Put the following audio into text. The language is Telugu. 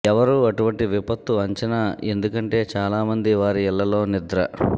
ఎవరూ అటువంటి విపత్తు అంచనా ఎందుకంటే చాలా మంది వారి ఇళ్లలో నిద్ర